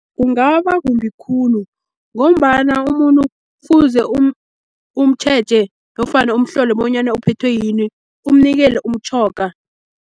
Kungaba kumbi khulu, ngombana umuntu kufuze umtjheje nofana umhlole bonyana uphethwe yini, umnikele umtjhoga.